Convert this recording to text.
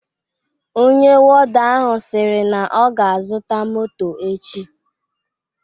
Ọnye wọda ahụ siri na ọ ga azuta mọtọ echi